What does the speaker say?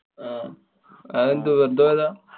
അഹ് അതെന്തേ വെര്‍തെ പോയതാ?